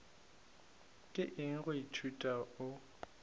ke eng go ithuta o